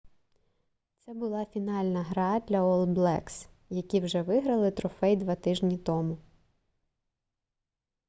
це була фінальна гра для ол блекс які вже виграли трофей 2 тижні тому